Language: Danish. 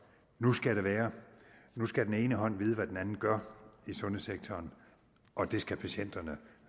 nu skal det være nu skal den ene hånd vide hvad den anden gør i sundhedssektoren og det skal patienterne